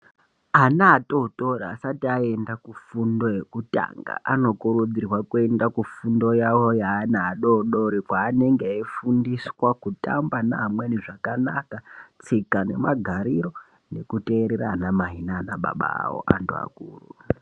Ana atotori asati aenda kufundo yekutanga anokurudzirwa kuenda kufundo yavo yeana adodori, kweanenge eifundiswa kutamba neamweni zvakanaka ,tsika nemagariro nekuteerera anamai naanababa avo antu akuru.